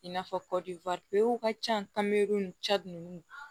I n'a fɔ ka ca ni ninnu